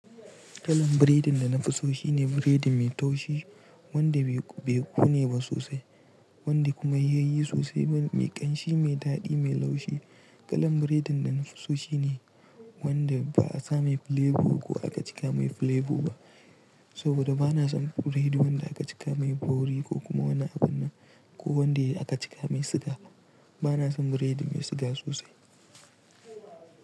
Kalan biredin da na fi so shine biredi mai taushi, wanda bai kone ba sosai, wanda kuma yayi sosai, mai ƙanshi, mai daɗi, mai laushi. Kalan biredin da na fi so shine wanda ba a sa mai flevo ko aka cika mai flevo ba. Saboda bana son biredin wanda aka cika mai bauri ko kuma wani abun nan ko wanda aka cika mai siga. Bana son biredin mai siga sosai.